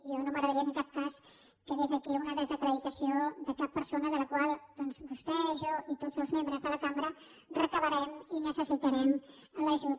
a mi no m’agradaria que en cap cas quedés aquí una desacreditació de cap persona de la qual doncs vostè jo i tots els membres de la cambra demanarem i necessitarem l’ajut